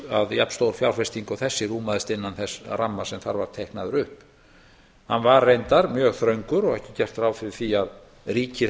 jafnstór fjárfesting og þessi rúmaðist innan þess ramma sem þar var teiknaður upp hann var reyndar mjög þröngur og ekki gert ráð fyrir því að ríkið